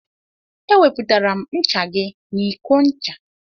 E wepụtara m ncha gị n'iko ncha.